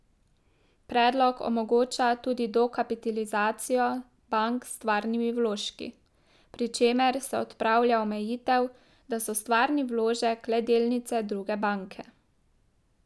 Predlog omogoča tudi dokapitalizacijo bank s stvarnimi vložki, pri čemer se odpravlja omejitev, da so stvarni vložek le delnice druge banke.